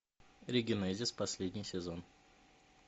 регенезис последний сезон